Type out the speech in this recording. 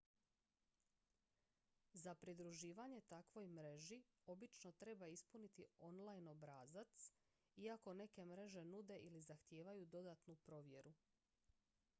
za pridruživanje takvoj mreži obično treba ispuniti online obrazac iako neke mreže nude ili zahtijevaju dodatnu provjeru